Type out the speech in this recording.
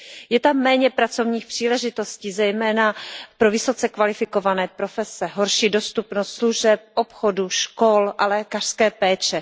Je tam méně pracovních příležitostí, zejména pro vysoce kvalifikované profese, horší dostupnost služeb, obchodu, škol a lékařské péče.